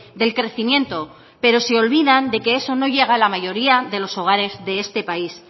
del crecimiento pero se olvidan de que eso no llega a la mayoría de los hogares de este país